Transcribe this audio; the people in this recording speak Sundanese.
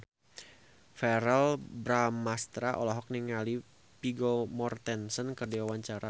Verrell Bramastra olohok ningali Vigo Mortensen keur diwawancara